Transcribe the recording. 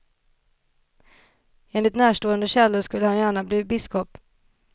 Enligt närstående källor skulle han gärna bli biskop.